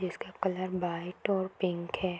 जिसका colour white और pink है।